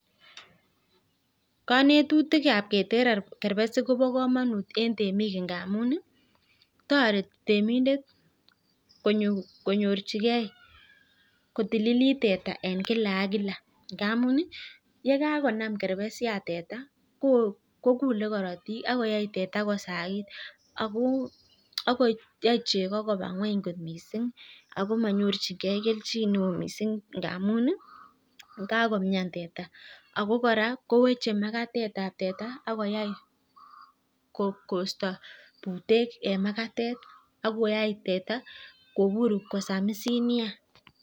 Konetutikab keter kerbesik kobo komonut eng temik ndamun toreti temindet konyorchigei kotililit teta eng kila ak kila. ngamun yekakonam kerbesik teta kokulei korotik akoyai teta kosagit ako yai cheko koba ng'weny kot mising . Ako manyorchingei keljin neo mising ngamun yekakomian teta. Ako kora kowechei makatetab teta ak koisto butek eng makatet ak koyai teta kobur kosamisit neya.